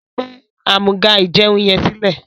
gbé Amúga-ìjẹun yén silẹ!